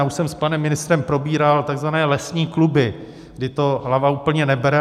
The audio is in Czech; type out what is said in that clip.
Já už jsem s panem ministrem probíral tzv. lesní kluby, kdy to hlava úplně neberu.